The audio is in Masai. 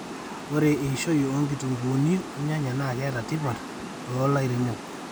ore eishoi oonkitunkuuni olnyanya na keeta tipat toolairemok